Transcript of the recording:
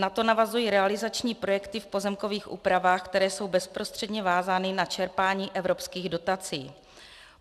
Na to navazují realizační projekty v pozemkových úpravách, které jsou bezprostředně vázány na čerpání evropských dotací.